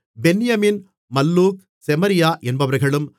பென்யமீன் Malluch Shemariah என்பவர்களும்